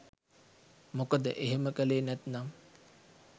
මොකද එහෙම කලේ නැත්නම්